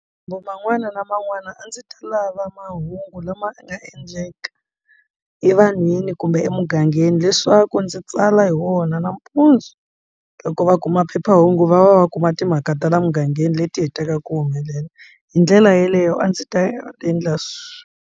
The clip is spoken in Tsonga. Kumbe man'wana na man'wana a ndzi ta lava mahungu lama nga endleka evanhwini kumbe emugangeni leswaku ndzi tsala hi wona nampundzu loko va kuma phephahungu va va va kuma timhaka ta la mugangeni leti hetaka ku humelela hi ndlela yeleyo a ndzi ta endla swi.